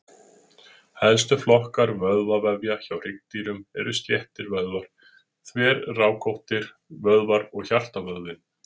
Helstu flokkar vöðvavefja hjá hryggdýrum eru sléttir vöðvar, þverrákóttir vöðvar og hjartavöðvinn.